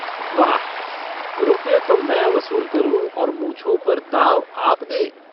वाह रुपये तो मैं वसूल करूँ और मूँछों पर ताव आप दें।